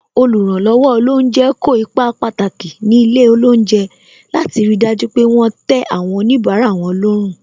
Oluranlowo olounje kó ipa pàtàki ní ilé olounje, láti ri dájú pé wọn tẹ àwọn onibara wọn lọ́rùn.